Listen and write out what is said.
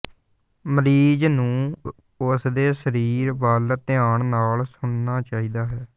ਮਰੀਜ਼ ਨੂੰ ਉਸਦੇ ਸਰੀਰ ਵੱਲ ਧਿਆਨ ਨਾਲ ਸੁਣਨਾ ਚਾਹੀਦਾ ਹੈ